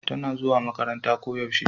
tana zuwa makaranta ko yaushe